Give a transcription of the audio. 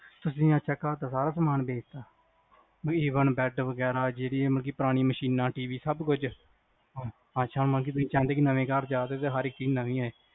ਅੱਛਾ ਤੁਸੀ ਘਰ ਦਾ ਸਾਰਾ ਸਾਮਾਨ ਵੇਚਤਾ bed ਵਗੈਰਾ, ਮਤਲੱਬ ਪੁਰਾਣੀ ਮਸ਼ੀਨਾਂ TV ਵਗੈਰਾ ਸਬ ਕੁੱਝ, ਅੱਛਾ ਮਤਲੱਬ ਤੁਸੀ ਚਾਉਂਦੇ ਨਵੇਂ ਘਰ ਜਾਓ ਤੇ ਹਰ ਇਕ ਚੀਜ਼ ਨਵੀ ਆਏ